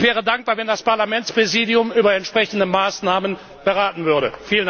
Ich wäre dankbar, wenn das Parlamentspräsidium über entsprechende Maßnahmen beraten würde.